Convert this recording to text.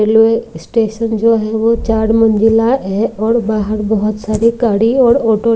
railway station जो है वो चार मंजिला है और बाहर बहुत सारी गाड़ी और --